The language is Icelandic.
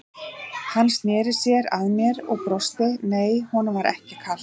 Hann sneri sér að mér og brosti, nei, honum var ekkert kalt.